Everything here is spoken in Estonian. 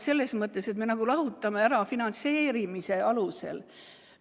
Selles mõttes, et me nagu lahutame siin selle finantseerimise alusel.